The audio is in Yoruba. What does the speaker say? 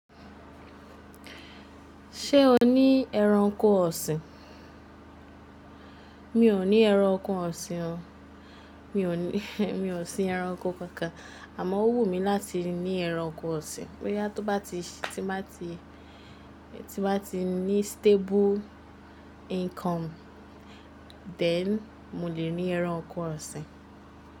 Ṣé o ní ẹranko ọ̀sìn? Mi ò ní ẹranko ọ̀sìn o. Mi ò ní, mi ò sín ẹranko kankan. Àmọ́ ó wùn mí láti ní ẹranko ọ̀sìn. Boya toba ti, tí bá ti, tí bá ti ní stable income, then mo lè ní ẹranko ọ̀sìn.